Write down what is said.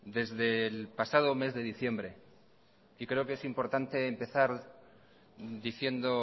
desde el pasado mes de diciembre y creo que es importante empezar diciendo